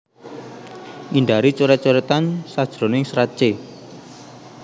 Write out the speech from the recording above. Ngindari coret coretan sajroning serat c